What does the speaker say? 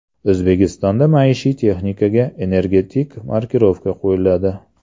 O‘zbekistonda maishiy texnikaga energetik markirovka qo‘yiladi.